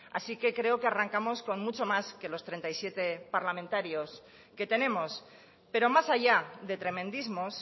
así que creo que arrancamos con mucho más que los treinta y siete parlamentarios que tenemos pero más allá de tremendismos